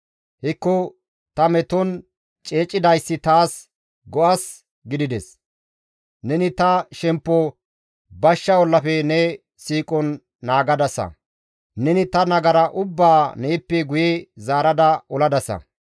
Hekko ta meton ceecidayssi taas go7as gidides. Neni ta shemppo bashsha ollafe ne siiqon naagadasa; neni ta nagara ubbaa neeppe guye zaarada oladasa.